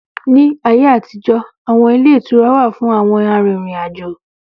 Ní ayé àtijó, awọn ilé ìtura wà fún àwọn arìnrìn-àjò